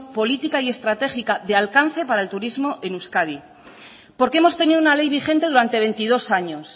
política y estratégica de alcance para el turismo en euskadi porque hemos tenido una ley vigente durante veintidós años